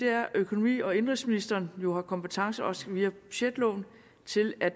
er at økonomi og indenrigsministeren jo har kompetence også via budgetloven til at